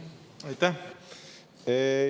Aitäh!